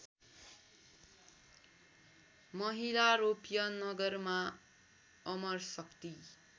महिलारोप्य नगरमा अमरशक्ति